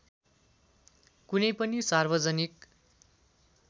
कुनै पनि सार्वजनिक